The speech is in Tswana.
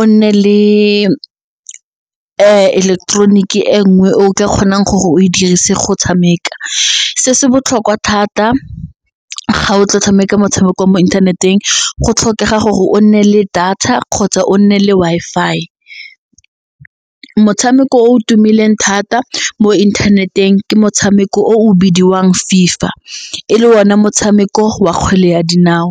o nne le ileketeroniki e nngwe o ka kgonang gore o dirise go tshameka se se botlhokwa thata ga o tlo tshameka motshameko wa mo inthaneteng go tlhokega gore o nne le data kgotsa o nne le Wi-Fi. Motshameko o tumileng thata mo inthaneteng ke motshameko o o bidiwang FIFA le one motshameko wa kgwele ya dinao.